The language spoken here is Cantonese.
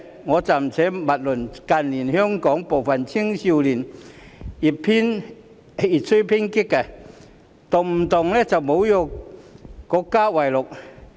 我暫且勿論近年香港部分青少年越趨偏激，動不動以侮辱國家為樂。